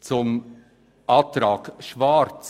Zur Planungserklärung EDU/Schwarz.